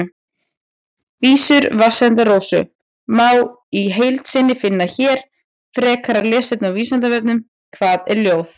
Vísur Vatnsenda-Rósu má í heild sinni finna hér Frekara lesefni á Vísindavefnum: Hvað er ljóð?